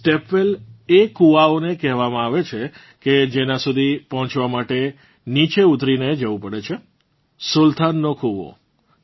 stepwell એ કૂવાઓને કહેવામાં આવે છે કે જેનાં સુધી પહોંચવા માટે નીચે ઉતરીને જવું પડે છે સુલ્તાનનો કૂવો